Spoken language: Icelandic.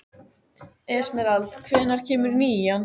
Esmeralda, hvenær kemur nían?